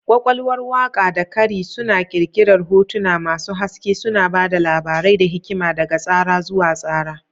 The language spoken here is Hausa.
Ƙwaƙwalwar waƙa da kari suna ƙirƙirar hotuna masu haske, suna ba da labarai da hikima daga tsara zuwa tsara.